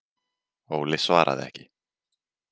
Óli svaraði ekki.